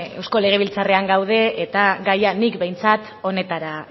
eusko legebiltzarrean gaude eta gaia nik behintzat honetara